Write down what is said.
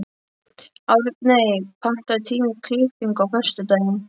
Árney, pantaðu tíma í klippingu á föstudaginn.